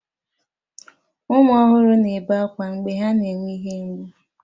Ụmụ ọhụrụ na-ebe akwa mgbe ha na-enwe ihe mgbu